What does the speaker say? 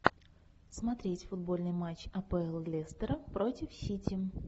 смотреть футбольный матч апл лестера против сити